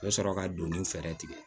U bɛ sɔrɔ ka donniw fɛɛrɛ tigɛ